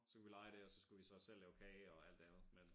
Så kunne vi leje det og så skulle vi så selv lave kage og alt det andet men